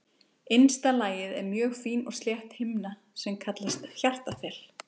Innsta lagið er mjög fín og slétt himna sem kallast hjartaþel.